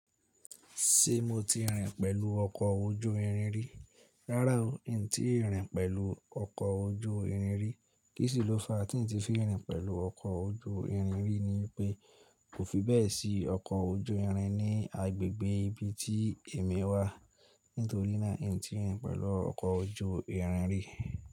Ṣé mo ti rìn pẹ̀lú ọkọ̀ ojú irin rí? Rárá o, n tíì rìn pẹ̀lú ọkọ̀ ojú irin rí. Kíṣlọ́ fa tí n ti fi rìn pẹ̀lú ọkọ̀ ojú irin rí ni pé, kò fi bẹ́ẹ̀ sí ọkọ̀ ojú irin ní agbègbè ibi tí èmi wà. Nítorí náà, n tíì rìn pẹ̀lú ọkọ̀ ojú irin rí.